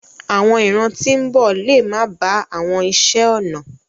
Àwọn ìran tí ń bọ̀ lè máa ba àwọn iṣé ọnà.